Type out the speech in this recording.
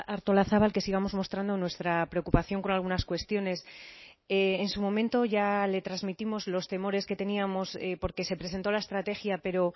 artolazabal que sigamos mostrando nuestra preocupación con algunas cuestiones en su momento ya le transmitimos los temores que teníamos porque se presentó la estrategia pero